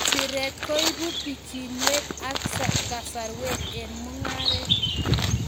Siret koibu bichiinwek ak kasarwek eng mung'aret